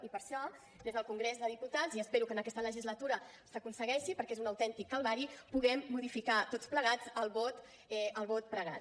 i per això des del congrés dels diputats espero que en aquesta legislatura s’aconsegueixi perquè és un autèntic calvari poder modificar tots plegats el vot pregat